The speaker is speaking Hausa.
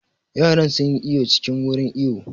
Yaran sun yi iwo cikin wurin iwo